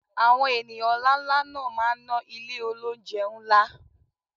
Àwọn ènìyàn ńláńlá náà máa ná ilé olóunjẹ ńlá